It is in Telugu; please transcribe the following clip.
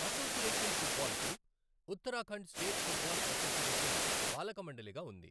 అసోసియేషన్ ఫుట్బాల్కు ఉత్తరాఖండ్ స్టేట్ ఫుట్బాల్ అసోసియేషన్ పాలకమండలిగా ఉంది.